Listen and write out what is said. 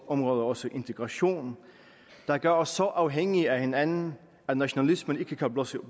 områder også integration der gør os så afhængige af hinanden at nationalismen ikke kan blusse